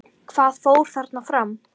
Hvað fór þarna fram?